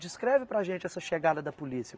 Descreve para a gente essa chegada da polícia.